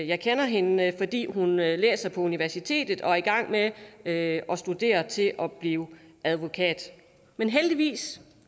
jeg kender hende fordi hun læser på universitetet og er i gang med at studere til at blive advokat men heldigvis